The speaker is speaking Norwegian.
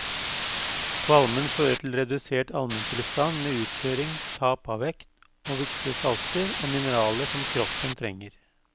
Kvalmen fører til redusert almentilstand med uttørring, tap av vekt og viktige salter og mineraler som kroppen trenger.